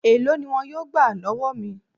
Èló ni wọn yóò gbà lọ́wọ́ mi?